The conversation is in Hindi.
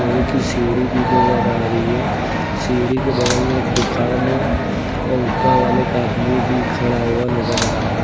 और एक ही सीढ़ी भी नजर आ रही है सीढ़ी के बगल में एक दुकान है और ऊपर वाले का आदमी भी खड़ा हुआ नजर आ रहा--